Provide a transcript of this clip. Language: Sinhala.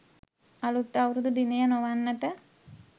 අලුත් අවුරුදු දිනය නොවන්නට